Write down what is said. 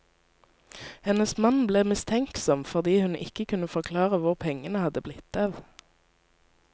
Hennes mann ble mistenksom fordi hun ikke kunne forklare hvor pengene hadde blitt av.